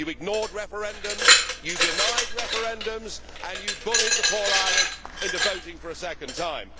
You ignored referendums, you denied referendums, and you bullied the poor Irish into voting a second time.